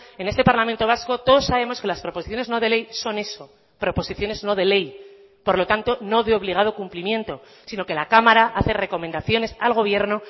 en este parlamento vasco todos sabemos que las proposiciones no de ley son eso proposiciones no de ley por lo tanto no de obligado cumplimiento sino que la cámara hace recomendaciones al gobierno